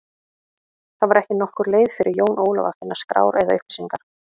Það var ekki nokkur leið fyrir Jón Ólaf að finna skrár eða upplýsingar.